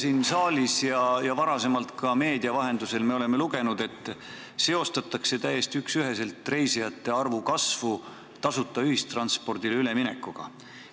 Siin saalis ja varasemalt ka meedia vahendusel me oleme lugenud, et täiesti üksüheselt seostatakse reisijate arvu kasvu tasuta ühistranspordile üleminekuga.